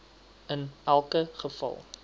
in elke geval